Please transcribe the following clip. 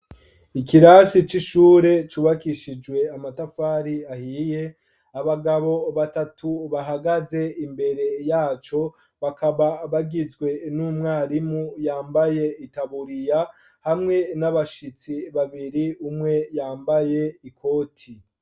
Ikirasi c'ishure cubakishijwe amatafari ahiye, abagabo batatu bahagaze imbere yaco bakaba bagizwe n'umwarimu yambaye itaburiya hamwe n'abashitsi babiri umwe yambaye ikoti.